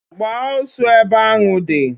Gbaa osu ebe anu nu!